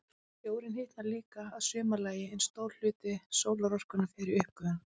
Sjórinn hitnar líka að sumarlagi, en stór hluti sólarorkunnar fer í uppgufun.